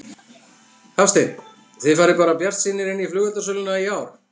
Hafsteinn: Þið farið bara bjartsýnir inn í flugeldasöluna í ár?